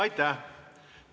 Aitäh!